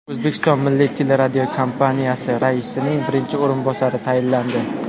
O‘zbekiston Milliy teleradiokompaniyasi raisining birinchi o‘rinbosari tayinlandi.